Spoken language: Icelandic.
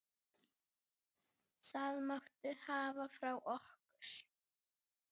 Það máttu hafa frá okkur.